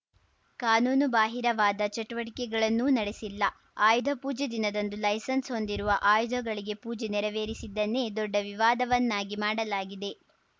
ಕಾನೂನುಬಾಹಿರವಾದ ಚಟುವಟಿಕೆಗಳನ್ನೂ ನಡೆಸಿಲ್ಲ ಆಯುಧ ಪೂಜೆ ದಿನದಂದು ಲೈಸೆನ್ಸ್‌ ಹೊಂದಿರುವ ಆಯುಧಗಳಿಗೆ ಪೂಜೆ ನೆರವೇರಿಸಿದ್ದನ್ನೇ ದೊಡ್ಡ ವಿವಾದವನ್ನಾಗಿ ಮಾಡಲಾಗಿದೆ